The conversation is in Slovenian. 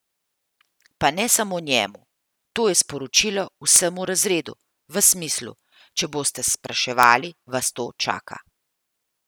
Pa ne samo njemu, to je sporočilo vsemu razredu, v smislu, če boste spraševali, vas to čaka.